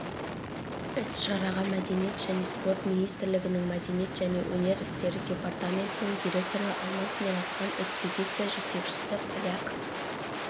іс-шараға мәдениет және спорт министрлігінің мәдениет және өнер істері департаментінің директоры алмаз нұразхан экспедиция жетекшісі поляк